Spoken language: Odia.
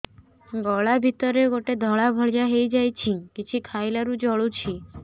ଗଳା ଭିତରେ ଗୋଟେ ଧଳା ଭଳିଆ ହେଇ ଯାଇଛି କିଛି ଖାଇଲାରୁ ଜଳୁଛି